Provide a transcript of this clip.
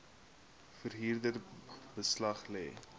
verhuurder beslag lê